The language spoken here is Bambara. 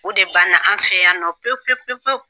O de banna an fɛ yan nɔ pewu pewu pewu pewu.